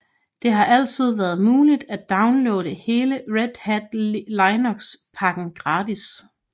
Det har altid været muligt at downloade hele Red Hat Linux pakken gratis